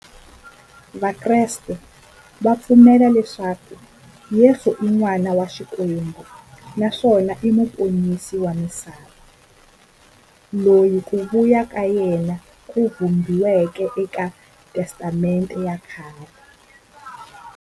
Vakreste va pfumela leswaku Yesu i n'wana wa Xikwembu naswona i muponisi wa misava, loyi ku vuya ka yena ku vhumbiweke eka Testamente ya khale.